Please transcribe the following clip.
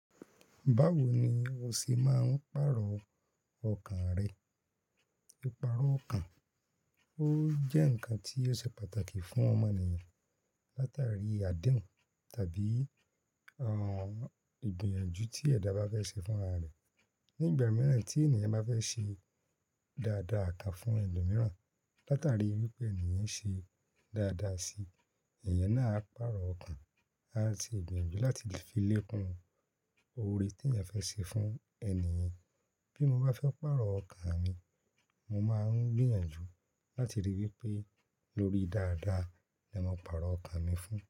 Báwo ni o ṣi máa ń pàrọ̀ ọkàn rẹ? Ìparó ọkàn ó jẹ́ nǹkan tí ó ṣe pàtàkì fún ọmọ eniyan. Látàrí àdínu tàbí ìgbìyànjú tí ẹ̀dà bá fẹ́ ṣe fún ra re. Nígbà mìíràn tí ènìyàn bá fẹ́ ṣe dáadáa kàn fún ẹlòmíràn, látàrí wipé ènì yen ṣe dáadáa síi, èèyàn náà á pàrọ̀ ọkàn, á ti ìgbìyànjú láti le fi lékún oore tí èèyàn fẹ́ ṣe fún ènìyàn. Bí mo bá fẹ́ pàrọ̀ ọkàn mi, mo máa ń gbìyànjú láti rí wipé lórí dáadáa ni mo pàrọ̀ ọkàn mi fún.